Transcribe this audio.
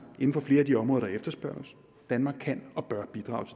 inden for flere af de områder der efterspørges danmark kan og bør bidrage